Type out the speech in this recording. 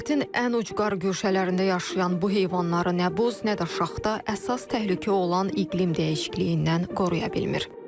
Planetdin ən ucqar guşələrində yaşayan bu heyvanları nə buz, nə də şaxta, əsas təhlükə olan iqlim dəyişikliyindən qoruya bilmir.